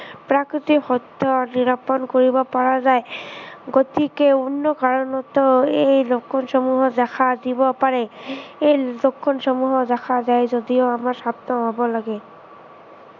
প্ৰকৃত সত্য় নিৰাপন কৰিব পৰা যায়। গতিকে অন্য় কাৰনতো এই লক্ষণসমূহ দেখা দিব পাৰে। এই লক্ষণসমূহ দেখা যায় যদিও আমাৰ সাৱধান হব লাগে।